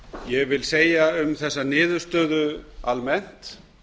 ég vil segja um þessa niðurstöðu almennt